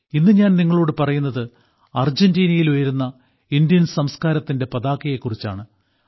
ഇന്ന് ഞാൻ നിങ്ങളോട് പറയുന്നത് അർജന്റീനയിൽ ഉയരുന്ന ഇന്ത്യൻ സംസ്കാരത്തിന്റെ പതാകയെക്കുറിച്ചാണ്